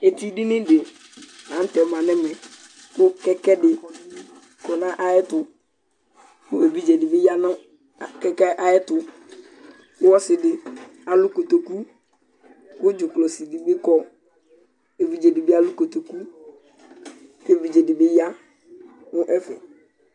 Etidini dɩ la nʋ tɛ ma nʋ ɛmɛ kʋ kɛkɛ dɩ kɔ nʋ ayɛtʋ kʋ evidze dɩ bɩ ya nʋ a kɛkɛ yɛ ayɛtʋ kʋ ɔsɩ dɩ alʋ kotoku kʋ dzʋklɔsi dɩ bɩ kɔ kʋ evidze dɩ bɩ alʋ kotoku kʋ evidze dɩ bɩ ya nʋ ɛfɛ